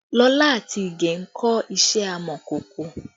Lola àti Ìgè ń kọ́ iṣẹ́ amọ̀kòkò